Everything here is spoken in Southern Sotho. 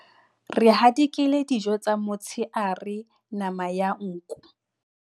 Re hadikela dijo tsa motshehare nama ya nku.